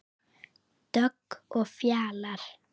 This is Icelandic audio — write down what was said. Dögg og Fjalar.